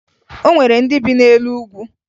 O nwere ndị bi n'elu ugwu